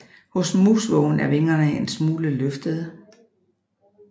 Hos musvågen er vingerne en smule løftede